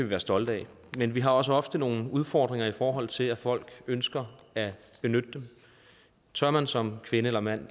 være stolte af men vi har også ofte nogle udfordringer i forhold til at folk ønsker at benytte dem tør man som kvinde eller mand